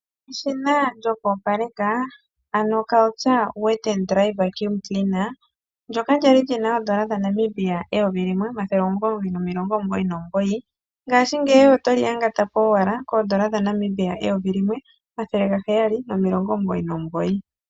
Eshina lyokopaleka ano Karcher Wet and Dry Vaccume Cleaner ndyoka lyali lina N$1999 ngashingeyi oto li yangata po owala koN$1799.